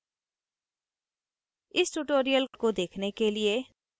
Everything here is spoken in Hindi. आई आई टी बॉम्बे से मैं श्रुति आर्य अब आपसे विदा लेती हूँ